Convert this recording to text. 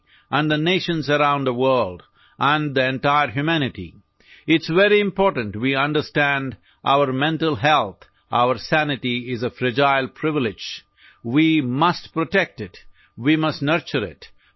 معاشرے اور دنیا بھر کی اقوام اور پوری انسانیت کی ثقافتی زندگی میں، یہ بہت اہم ہے کہ ہم اپنی دماغی صحت کو سمجھیں، ہماری عقل ایک نازک استحقاق ہے، ہمیں اس کی حفاظت کرنی چاہیے